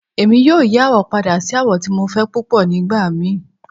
Emi yoo yi awọ pada si awọ ti Mo fẹ pupọ nigbamii